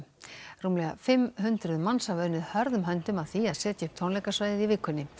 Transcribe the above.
rúmlega fimm hundruð manns hafa unnið hörðum höndum að því að setja upp tónleikasvæðið í vikunni